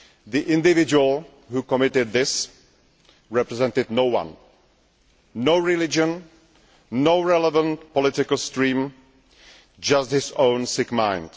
The individual who committed this represented no one no religion, no relevant political stream, just his own sick mind.